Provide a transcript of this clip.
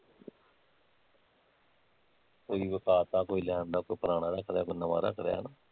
ਕੋਈ ਵਿਕਾਤਾਂ ਕੋਈ ਲੈ ਆਉਂਦਾ ਕੋਈ ਪੁਰਾਣਾ ਰੱਖਲਿਆਂ ਕੋਈ ਨਵਾਂ ਰੱਖਲਿਆਂ ਹੈਨਾ